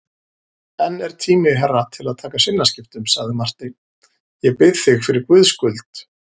Enn er tími herra til að taka sinnaskiptum, sagði Marteinn,-ég bið þig fyrir Guðs skuld.